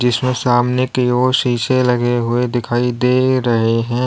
जिसमें सामने की ओर शीशे लगे हुए दिखाई दे रहे है।